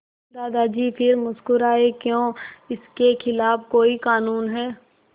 दादाजी फिर मुस्कराए क्यों इसके खिलाफ़ कोई कानून है